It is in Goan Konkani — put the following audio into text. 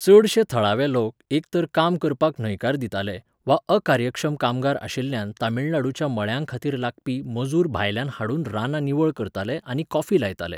चडशे थळावे लोक एक तर काम करपाक न्हयकार दिताले वा अकार्यक्षम कामगार आशिल्ल्यान तमिळनाडूच्या मळ्यांखातीर लागपी मजूर भायल्यान हाडून रानां निवळ करताले आनी कॉफी लायताले..